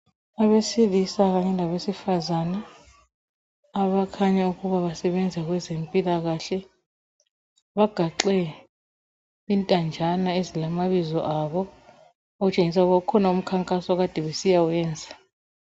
Abesilisa kanye labesifazana abakhanya ukuba basebenza kwezempilakahle bagaxe intanjana ezilamabizo abo okutshengisa ukuba kukhona umkhankaso okade besiyawuyenza.